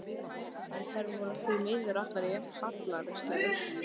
En þær voru því miður allar jafn hallærislegar.